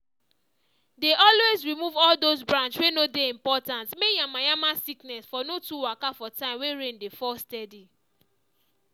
dey always remove all those branch wey no dey important may yanmayanma sickness for no too waka for time wey rain dey fall steady